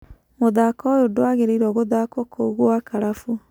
Mũthako ũyũ ndũagirĩirwo gũthakwo kũu gwa Karabu.